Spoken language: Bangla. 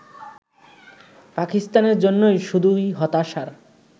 পাকিস্তানের জন্য শুধুই হতাশার